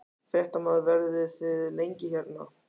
Fréttamaður: Verðið þið lengi hérna?